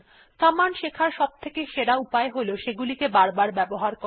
command শেখার সবথেকে সেরা উপায় হল সেগুলিকে বারবার ব্যবহার করা